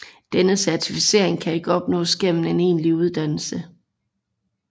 Denne certificering kan ikke opnås gennem en egentlig uddannelse